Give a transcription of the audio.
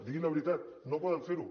diguin la veritat no poden fer ho